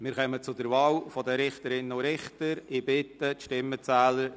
Wir kommen zur Wahl der Richterinnen und Richter.